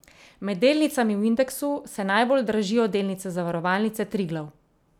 Med delnicami v indeksu se najbolj dražijo delnice Zavarovalnice Triglav.